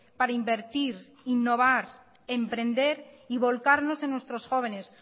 para invertir innovar emprender y volcarnos en nuestros jóvenes